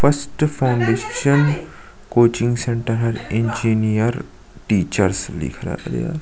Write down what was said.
first foundation coaching centre engineers teachers लिखा गया --